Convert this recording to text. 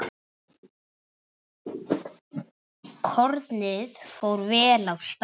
Kornið fór vel af stað.